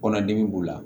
Kɔnɔdimi b'u la